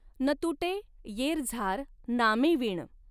न तुटॆ यॆरझार नामॆंविण.